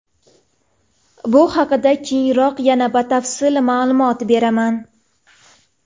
Bu haqida keyinroq yana batafsil ma’lumot beraman.